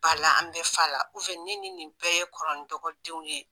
Ba la an bɛ fa la ne ni nin bɛɛ ye kɔrɔ ni dɔgɔ denw ye